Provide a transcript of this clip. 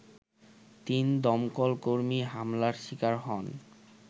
তিন দমকলকর্মী হামলার শিকার হন